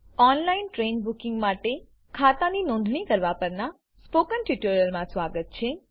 online train booking માટે ખાતાની નોંધણી કરાવવાં પરનાં સ્પોકન ટ્યુટોરીયલમાં સ્વાગત છે